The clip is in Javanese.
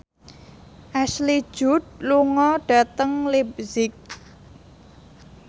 Ashley Judd lunga dhateng leipzig